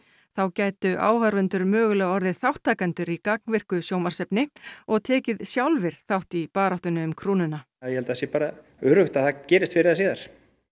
þá gætu áhorfendur mögulega orðið þátttakendur í gagnvirku sjónvarpsefni og tekið sjálfir þátt í baráttunni um krúnuna ég held að það sé bara öruggt að það gerist fyrr eða síðar